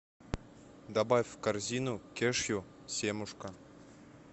добавь в корзину кешью семушка